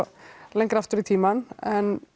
lengra aftur í tímann en